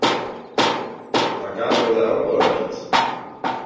Það gat orðið áhugavert.